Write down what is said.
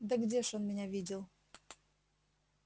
да где ж он меня видел